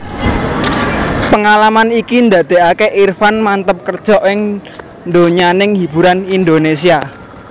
Pengalaman iki ndadékaké Irfan manteb kerja ing donyaning hiburan Indonesia